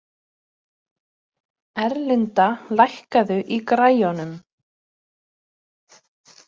Erlinda, lækkaðu í græjunum.